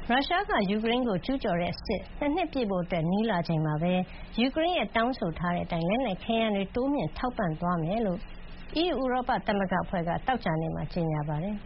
ရုရှားက ယူကရိန်းကို ကျူးကျော်တဲ့စစ် ၂ နှစ်ပြည့်ဖို့ နီးလာချိန်မှာပဲ ၊ ယူကရိန်းက တောင်းဆိုထားတဲ့အတိုင်း လက်နက်ခဲယမ်းတွေ တိုးမြှင့် ထောက်ပံ့သွားမယ်လို့ EU ဥရောပသမဂ္ဂအဖွဲ့က သောကြာနေ့မှာ ကြေညာပါတယ်